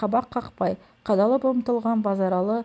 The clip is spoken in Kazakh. қабақ қақпай қадалып ұмтылған базаралы